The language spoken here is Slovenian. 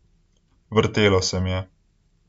Vrtelo se mi je.